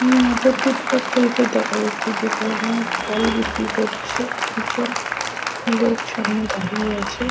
হুম একটা footpath type -এর দেখা যাচ্ছে। যেখানে ফল বিক্রি করছে দুটি লোক সামনে দাঁড়িয়ে আছে।